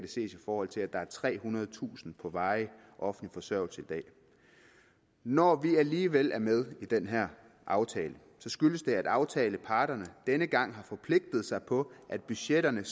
ses i forhold til at der er trehundredetusind der på varig offentlig forsørgelse når vi alligevel er med i den her aftale skyldes det at aftaleparterne denne gang har forpligtet sig på at budgetterne